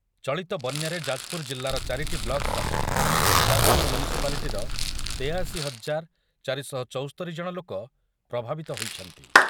ଚଳିତ ବନ‍୍ୟାରେ ଯାଜପୁର ଜିଲ୍ଲାର ଚାରିଟି ବ୍ଲକ୍ ସହ ଯାଜପୁର ମ୍ୟୁନିସିପାଲିଟିର ତେୟାଅଶି ହଜାର ଚାରି ଶହ ଚୌସ୍ତୋରି ଜଣ ଲୋକ ପ୍ରଭାବିତ ହୋଇଛନ୍ତି